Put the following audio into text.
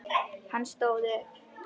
Hann stóð upp.